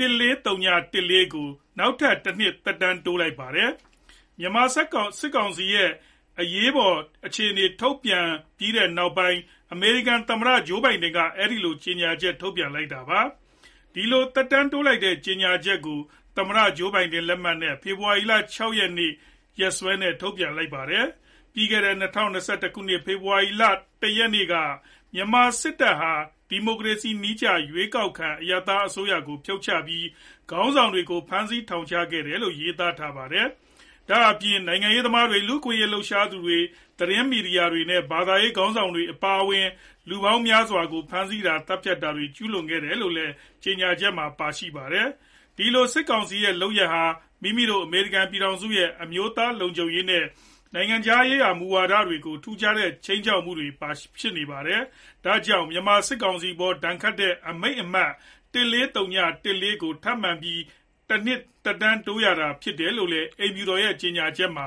၁၄၀၁၄ ကို သမ္မတအိမ်ဖြူတော်ကနေ နောက်ထပ်တနှစ် သက်တမ်းတိုးလိုက်ပါတယ်။ မြန်မာစစ်ကောင်စီရဲ့အရေးပေါ်အခြေအနေ ထပ်တိုးထုတ်ပြန်လိုက်ပြီးနောက် အမေရိကန်သမ္မတအိမ်ဖြူတော်ကနေ အဲဒီလို ကြေညာချက်ထုတ်ပြန်လိုက် တာဖြစ်ပါတယ်။ ဒီလို သက်တမ်းတိုးလိုက်တဲ့ ကြေညာချက်ကို သမ္မတဂျိုးဘိုင်ဒန်လက်မှတ်နဲ့ ဖေဖော်ဝါရီလ ၆ ရက်၊ ရက်စွဲနဲ့ ထုတ်ပြန်လိုက်တာပါ။ ပြီးခဲ့တဲ့ ၂ဝ၂၁ ခုနှစ် ဖေဖော်ဝါရီလ ၁ ရက်နေ့က မြန်မာစစ်တပ်ဟာ ဒီမိုကရေစီနည်းကျ ရွေးကောက်ခံအရပ်သားအစိုးရကို ဖြုတ်ချပြီး ခေါင်းဆောင်တွေကို ဖမ်းဆီး ထောင်ချခဲ့တယ်လို့လည်း ရေးသားထားပါတယ်။ ဒါ့ပြင် နိုင်ငံရေးသမားတွေ၊ လူ့အခွင့်အရေးလှုပ်ရှားသူတွေ၊ သတင်းမီဒီယာသမားတွေနဲ့ ဘာသာရေးခေါင်းဆောင်တွေအပါအဝင် လူပေါင်းများစွာကို ဖမ်းဆီးတာ၊ သတ်ဖြတ်တွေကို ကျူးလွန်ခဲ့ပါတယ်လို့လည်း ကြေညာချက်မှာ ပါရှိပါတယ်။ ဒီလို စစ်ကောင်စီရဲ့လုပ်ရပ်ဟာ မိမိတို့အမေရိကန် ပြည်ထောင်စုရဲ့ အမျိုးသားလုံခြုံရေးနဲ့ နိုင်ငံခြားရေးမူဝါဒတွေကို ထူးခြားတဲ့ ခြိမ်းခြောက်မှုတွေ ဖြစ်ပါတယ်။ ဒါကြောင့် မြန်မာစစ်ကောင်စီအပေါ်ဒဏ်ခတ်ခဲ့တဲ့ အမိန့်အမှတ် ၁၄၀၁၄ ကို ထပ်မံပြီး တနှစ်သက်တမ်းတိုးရတာဖြစ်ပါတယ်လို့လည်း အိမ်ဖြူတော်ရဲ့ ကြေညာချက်မှာ